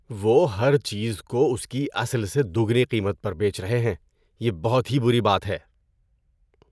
وہ ہر چیز کو اس کی اصل سے دوگنی قیمت پر بیچ رہے ہیں۔ یہ بہت ہی بری بات ہے۔